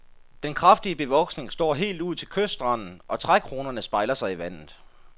Den kraftige bevoksning står helt ud til kystranden, og trækronerne spejler sig i vandet.